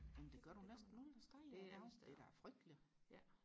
men det gør du næsten alle steder i dag det er da frygteligt